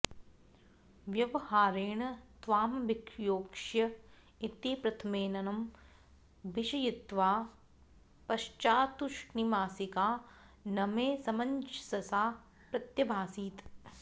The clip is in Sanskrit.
व्यवहारेण त्वामभियोक्ष्य इति प्रथममेनं भीषयित्वा पश्चात्तूष्णीमासिका न मे समञ्जसा प्रत्यभासीत्